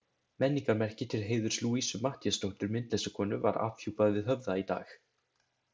Menningarmerki til heiðurs Louisu Matthíasdóttur myndlistarkonu var afhjúpað við Höfða í dag.